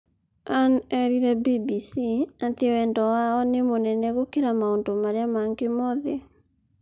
Ann eerire BBC atĩ wendo wa o nĩ mũnene gũkĩra maũndũ marĩa mangĩ mothe.